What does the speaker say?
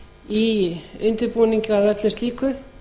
í undirbúning að öllu slíku